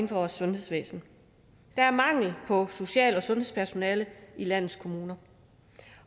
vores sundhedsvæsen der er mangel på social og sundhedspersonale i landets kommuner